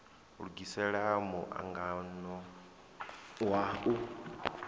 lugisela mu angano wa u